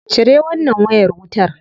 Cire wannan wayar wutar.